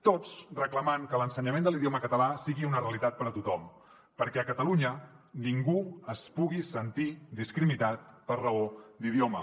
tots reclamant que l’ensenyament de l’idioma català sigui una realitat per a tothom perquè a catalunya ningú es pugui sentir discriminat per raó d’idioma